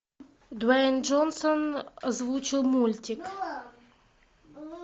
дуэйн джонсон озвучил мультик